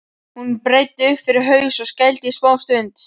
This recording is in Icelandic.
Hún breiddi upp fyrir haus og skældi í smástund.